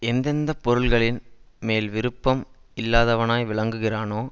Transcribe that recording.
எந்த எந்த பொருள்களின் மேல் விருப்பம் இல்லாதவனாய் விலகுகிறானோ